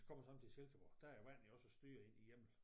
Kommer sådan til Silkeborg der er æ vand jo også styret i i hjemmel